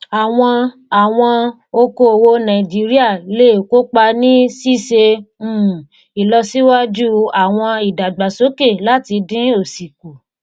àwọn àwọn okoòwò nàìjíríà lè kópa ní ṣíṣe um ìlọsíwájú àwọn ìdàgbàsókè láti dín òsì kù.